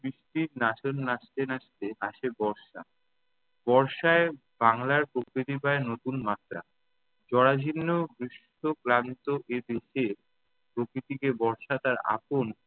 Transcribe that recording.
নাচন নাচতে নাচতে আসে বর্ষা। বর্ষায় বাংলার প্রকৃতি পায় নতুন মাত্রা। জড়া-ঝীর্ণ, ক্লীষ্ট-ক্লান্ত এই পৃথে প্রকৃতিকে বর্ষা তার আপন